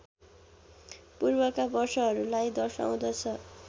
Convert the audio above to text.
पूर्वका वर्षहरूलाई दर्शाउँदछ